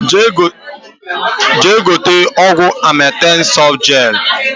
Jee gote ọgwụ Amatem sọfụtụ jel!